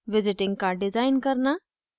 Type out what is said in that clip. visiting card design करना